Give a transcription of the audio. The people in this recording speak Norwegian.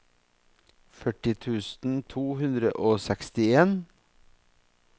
førti tusen to hundre og sekstien